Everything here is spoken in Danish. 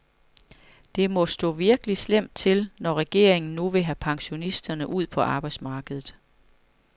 Det må stå virkelig slemt til, når regeringen nu vil have pensionisterne ud på arbejdsmarkedet.